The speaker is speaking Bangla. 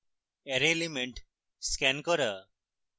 অ্যারের elements scan করা